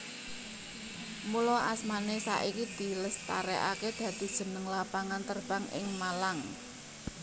Mula asmané saiki dilestarèkaké dadi jeneng lapangan terbang ing Malang